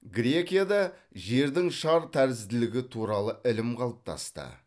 грекияда жердің шар тәрізділігі туралы ілім қалыптасты